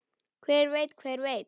Hver veit, hver veit.